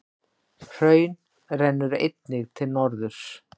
Hraun rennur einnig til norðurs.